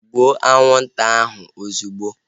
Gbuo anwụnta ahu ozigbo!